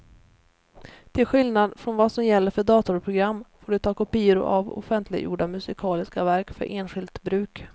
Till skillnad från vad som gäller för datorprogram får du ta kopior av offentliggjorda musikaliska verk för enskilt bruk.